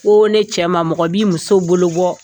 Ko ne cɛ mɔgɔ b'i muso bolo bɔ